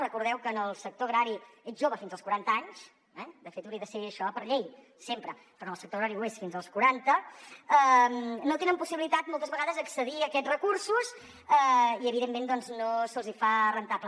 recordeu que en el sector agrari ets jove fins als quaranta anys de fet hauria de ser això per llei sempre però en el sector agrari ho és fins als quaranta no tenen possibilitat moltes vegades accedir a aquests recursos i evidentment no se’ls fa rendible